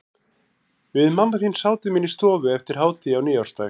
Við mamma þín sátum inni í stofu eftir hádegi á nýársdag.